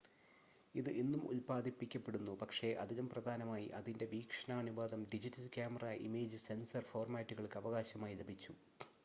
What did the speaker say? ഇത് ഇന്നും ഉൽപാദിപ്പിക്കപ്പെടുന്നു പക്ഷേ അതിലും പ്രധാനമായി അതിൻ്റെ വീക്ഷണാനുപാതം ഡിജിറ്റൽ ക്യാമറ ഇമേജ് സെൻസർ ഫോർമാറ്റുകൾക്ക് അവകാശമായി ലഭിച്ചു